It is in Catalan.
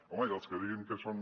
home i els que diguin que són